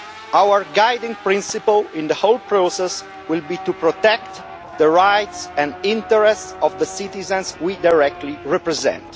Our guiding principle in the whole process will be to protect the rights and interests of the citizens we directly represent.